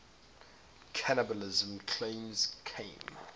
cannibalism claims came